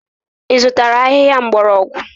Ị zụtara ahịhịa mgbọrọgwụ?